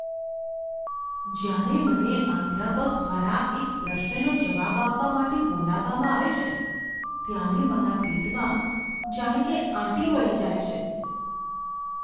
જ્યારે મને અધ્યાપક દ્વારા એક પ્રશ્નનો જવાબ આપવા માટે બોલાવવામાં આવે છે ત્યારે મારા પેટમાં જાણે કે આંટી વળી જાય છે.